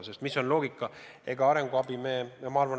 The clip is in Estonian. Mis on see loogika?